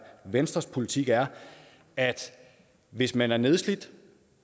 venstres politik er at hvis man er nedslidt